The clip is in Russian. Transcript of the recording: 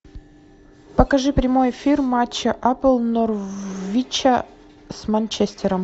покажи прямой эфир матча апл норвича с манчестером